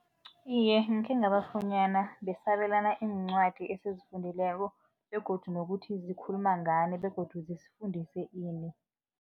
Iye, ngikhe ngabafunyana, besabelana iincwadi esizifundileko begodu nokuthi zikhuluma ngani begodu zisifundise ini.